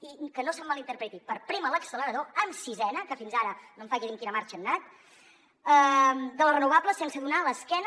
i que no se’m mal interpreti per prémer l’accelerador amb sisena que fins ara no em faci dir amb quina marxa han anat de les renovables sense donar l’esquena